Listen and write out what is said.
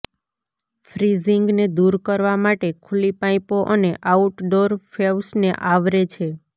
ફ્રીઝિંગને દૂર કરવા માટે ખુલ્લી પાઈપો અને આઉટડોર ફેવ્સને આવરે છે